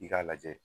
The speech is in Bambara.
I k'a lajɛ